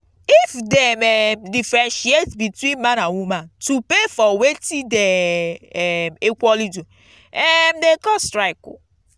if dem um diffentiaate between man and woman to pay for wetin them de um equaly do um de cause strike